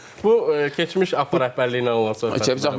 Bu keçmiş Afur rəhbərliyi ilə olan söhbət idi.